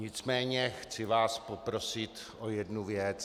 Nicméně chci vás poprosit o jednu věc.